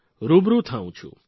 રૂબરૂ થાઉ છું